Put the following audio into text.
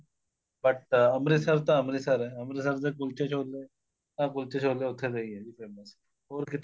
but Amritsar ਤਾਂ ਅੰਮ੍ਰਿਤਸਰ ਏ ਅੰਮ੍ਰਿਤਸਰ ਦੇ ਕੁਲਚੇ ਛੋਲੇ ਆ ਕੁਲਚੇ ਛੋਲੇ ਉੱਥੇਦੇ ਈ ਏ ਜੀ famous ਹੋਰ ਕਿਤੇ